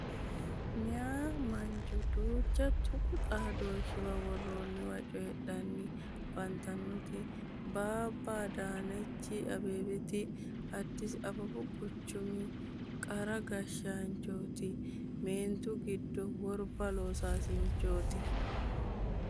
Meeya mancho duucha tuqu xaadooshshuwa worroonniwa cooyidhanni afantannoti babba adaanechi abbebeti addis ababu quchumi qara gashshaanchoooti. Meentu giddo worba loosaassinchooti.